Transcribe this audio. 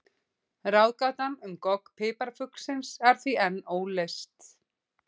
Ráðgátan um gogg piparfuglsins er því enn óleyst.